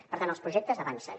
per tant els projectes avancen